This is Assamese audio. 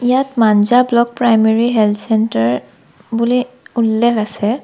ইয়াত Manja block primary health centre বুলি উল্লেখ আছে।